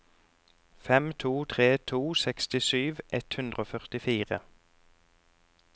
fem to tre to sekstisju ett hundre og førtifire